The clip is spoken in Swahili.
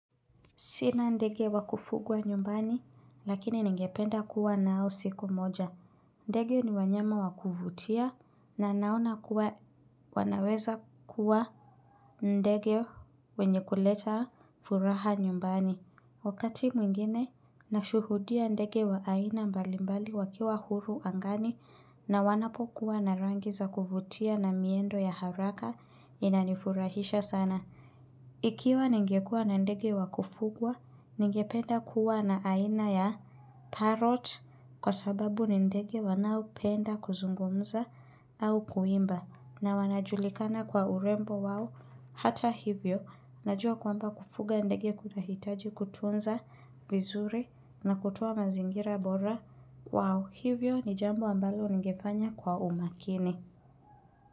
Sina ndege wakufugwa nyumbani, lakini ningependa kuwa nao siku moja. Ndege ni wanyama wakuvutia na naona kuwa wanaweza kuwa ndege wenye kuleta furaha nyumbani. Wakati mwingine, nashuhudia ndege wa aina mbalimbali wakiwa huru angani na wanapokuwa na rangi za kuvutia na miendo ya haraka inanifurahisha sana. Ikiwa ningekuwa na ndege wa kufugwa, ningependa kuwa na aina ya parot kwa sababu ni ndege wanaopenda kuzungumza au kuimba na wanajulikana kwa urembo wao hata hivyo. Najua kwamba kufuga ndege kunahitaji kutunza vizuri na kutwaa mazingira bora kwao hivyo ni jambo ambalo ningefanya kwa umakini.